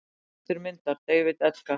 Höfundur myndar: David Edgar.